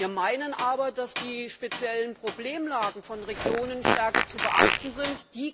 Wir meinen aber, dass die speziellen Problemlagen von Regionen stärker zu beachten sind